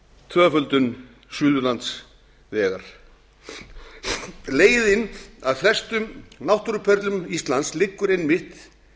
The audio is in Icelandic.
tvöföldun suðurlandsvegar leiðin að flestum náttúruperlum íslands liggur einmitt